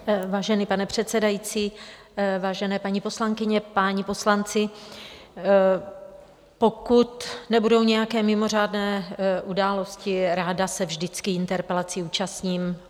Vážený pane předsedající, vážené paní poslankyně, páni poslanci, pokud nebudou nějaké mimořádné události, ráda se vždycky interpelaci účastním.